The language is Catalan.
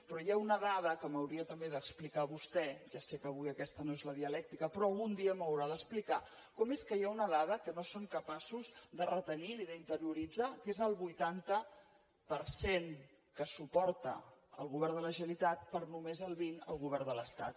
però hi ha una dada que m’hauria també d’explicar vostè ja sé que avui aquesta no és la dialèctica però algun dia m’ho haurà d’explicar com és que hi ha una dada que no són capaços de retenir ni d’interioritzar que és el vuitanta per cent que suporta el govern de la generalitat per només el vint el govern de l’estat